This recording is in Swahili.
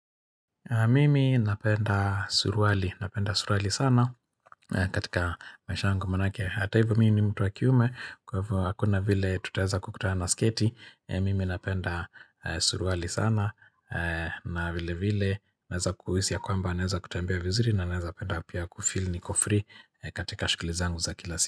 Mimi napenda suruali sana katika maisha yangu manake. Hata hivyo mimi ni mtu wa kiume kwa hivyo hakuna vile tutaweza kukutana na sketi. Mimi napenda suruali sana na vile vile naweza kuhisi ya kwamba naweza kutembea vizuri na naweza penda pia kufeel niko free katika shuguli zangu za kila siku.